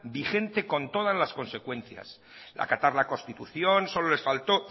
vigente con todas las consecuencias acatar la constitución solo les faltó